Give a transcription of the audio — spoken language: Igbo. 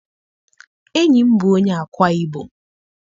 Enyi m bụ onye Ákwá-Ibom.